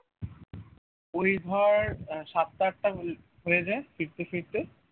ওই ধর আহ সাতটা আটটা হয়ে যায় ফিরতে ফিরতে